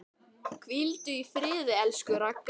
Hvíldu í friði, elsku Ragga.